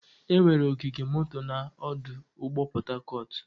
Enwere ogige moto na ọdụ ụgbọ Port Harcourt.